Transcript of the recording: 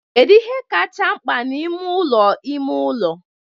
Kedu ihe kacha mkpa n'ime ụlọ ime ụlọ?